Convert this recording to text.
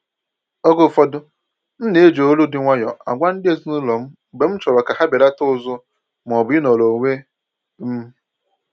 Oge ụfọdụ m ná-eji olu dị nwayọọ agwa ndị ezinụlọ m mgbe m chọrọ ka ha belata ụzụ maọbụ ịnọrọ onwe m